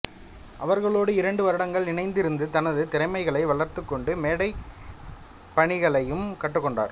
அவர்களோடு இரண்டு வருடங்கள் இணைந்திருந்து தனது திறமைகளை வளர்த்துக் கொண்டு மேடைப்பாணிகளையும் கற்றுக்கொண்டார்